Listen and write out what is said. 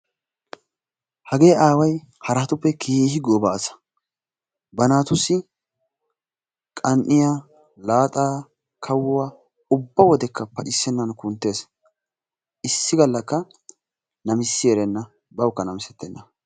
Hagee aaway haraatuppe keehi gooba asa. Ba naatussi qan"iya, laaxaa, kawuwaa ubba wodekka pacissennan kunttees. Issi gallakka namisissi erenna, bawukka namisettenna.